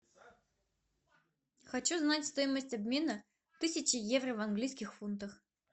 хочу знать стоимость обмена тысячи евро в английских фунтах